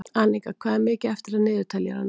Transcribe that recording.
Anika, hvað er mikið eftir af niðurteljaranum?